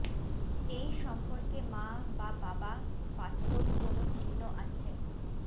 এই সম্পর্কে মা বা বাবা পাসপোর্ট কোন চিহ্ন আছে